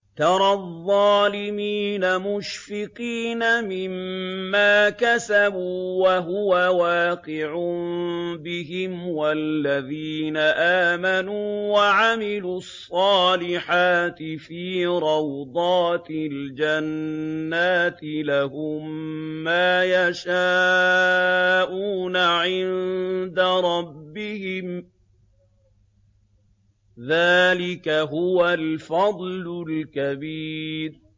تَرَى الظَّالِمِينَ مُشْفِقِينَ مِمَّا كَسَبُوا وَهُوَ وَاقِعٌ بِهِمْ ۗ وَالَّذِينَ آمَنُوا وَعَمِلُوا الصَّالِحَاتِ فِي رَوْضَاتِ الْجَنَّاتِ ۖ لَهُم مَّا يَشَاءُونَ عِندَ رَبِّهِمْ ۚ ذَٰلِكَ هُوَ الْفَضْلُ الْكَبِيرُ